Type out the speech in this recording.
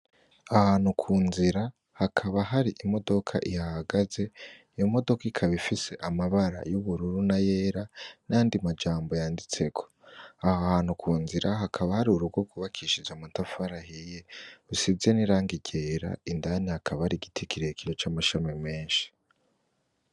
Ahantu ku nzira hakaba hari imodoka ihahagaze iyo modoka ikaba ifise amabara y'ubururu n'ayera n'ayandi majambo yanditseko aha hantu ku nzira hakaba hari urugo rw'ubakishije amatafari ahiye asize n'irangi ryera indani hakaba hari igiti kirekire c'amashami meshi.